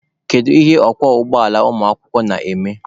Kedu ihe ọkwọ ụgbọala ụmụakwụkwọ na-eme?